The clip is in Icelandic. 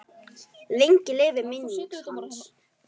Lengi lifi minning hans.